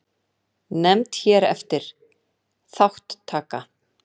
Nefnd hér eftir: Þátttaka.